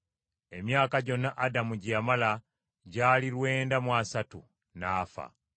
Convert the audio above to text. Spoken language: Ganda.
Emyaka gyonna Adamu gye yamala gyali lwenda mu asatu, n’afa.